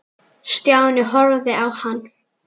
Stjáni horfði á hann.